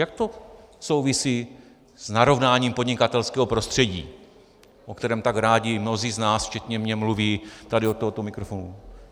Jak to souvisí s narovnáním podnikatelského prostředí, o kterém tak rádi mnozí z nás včetně mě mluví tady od tohoto mikrofonu?